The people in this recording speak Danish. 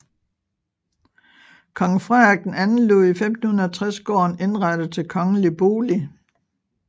Kong Frederik II lod i 1560 gården indrette til kongelig bolig